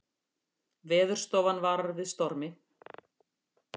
Veðurstofan varar við stormi